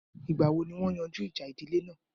Ìgbà wo ni wọ́n yanjú ìjà ìdílé náà?